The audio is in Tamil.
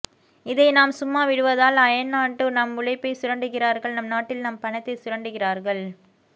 இதை நாம் சும்மா விடுவதா அயல்நாட்டில் நம் உழைப்பை சுரண்டுகிறார்கள் நம் நாட்டில் நம் பணத்தை சுரண்டுகிறார்கள்